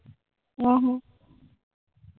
ਆਹੋ